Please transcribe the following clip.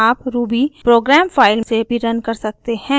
आप ruby program file से भी रन कर सकते हैं